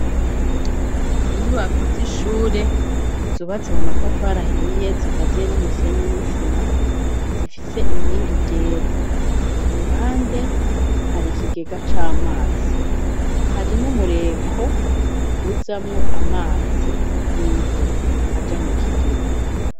Inyubako z'ishure zubatse mu matafari ahiye zikaziye n'umusenyi n'isima, zifise inkingi ryera. Ku ruhande hari kigega c'amazi hari n'umureko uzamwo amazi y'imvura aja mu kigega.